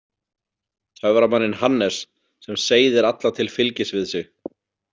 Töframanninn Hannes sem seiðir alla til fylgis við sig.